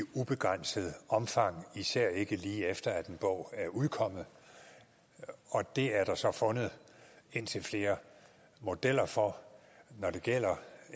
ubegrænset omfang især ikke lige efter en bog er udkommet og det er der så fundet indtil flere modeller for når det gælder